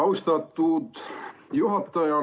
Austatud juhataja!